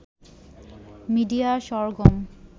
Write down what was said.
media Sargam